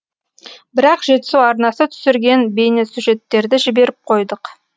бірақ жетісу арнасы түсірген бейнесюжеттерді жіберіп қойдық